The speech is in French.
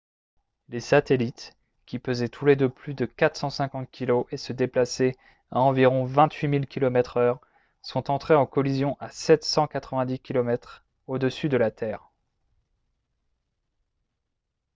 les satellites qui pesaient tous les deux plus de 450 kg et se déplaçaient à environ 28000 km/h sont entrés en collision à 790 km au-dessus de la terre